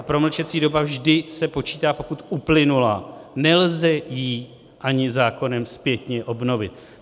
A promlčecí doba vždy se počítá, pokud uplynula, nelze ji ani zákonem zpětně obnovit.